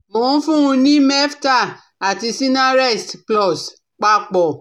Mò ń fún un ní Meftal àti Sinarest plus, papọ̀